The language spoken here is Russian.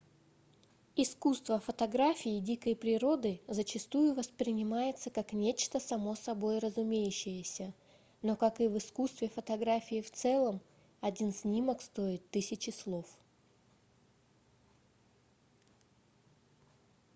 искусство фотографии дикой природы зачастую воспринимается как нечто само собой разумеющееся но как и в искусстве фотографии в целом один снимок стоит тысячи слов